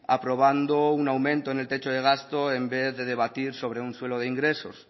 aprobando un aumento en el techo de gasto en vez de debatir sobre un suelo de ingresos